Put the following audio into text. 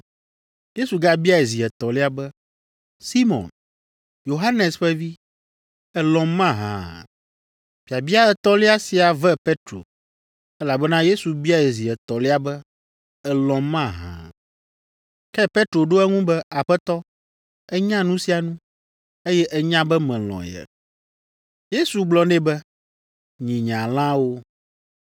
Yesu gabiae zi etɔ̃lia be, “Simɔn, Yohanes ƒe vi, èlɔ̃m mahã?” Biabia etɔ̃lia sia ve Petro, elabena Yesu biae zi etɔ̃lia be, “Èlɔ̃m mahã?” Ke Petro ɖo eŋu be, “Aƒetɔ, ènya nu sia nu, eye ènya be melɔ̃ ye.” Yesu gblɔ nɛ be, “Nyi nye alẽawo.